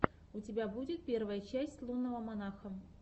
у тебя будет первая часть лунного монаха